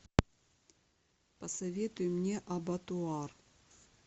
посоветуй мне абатуар